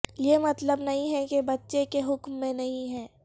یہ مطلب نہیں ہے کہ بچے کے حکم میں نہیں ہے